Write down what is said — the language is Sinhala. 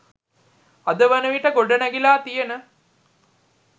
අද වනවිට ගොඩනැගිලා තියෙන